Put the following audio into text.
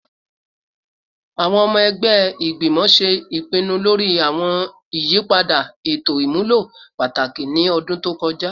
Awọn ọmọ ẹgbẹ igbimọ ṣe ipinnu lori awọn iyipada eto imulo pataki ni ọdun to kọja